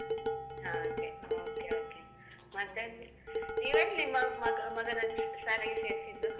ಹಾಗೆ, okay okay ಮತ್ತೆ, ನೀವೆಲ್ಲಿ ಮಗ~ ಮಗನನ್ನು ಶಾಲೆಗೆ ಸೇರ್ಸಿದ್ದು?